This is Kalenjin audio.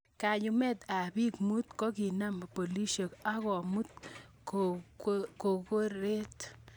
Kayumet ab biik mut kokinam pilisiek ako kokimut korkoret.